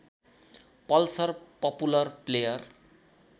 Pulsar popular player